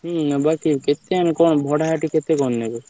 ହୁଁ ନବା ସେଠି କେତେ କଣ ଭଡା କେତେ କଣ ନେବେ?